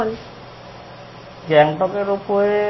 গ্যাংটকের ওপরে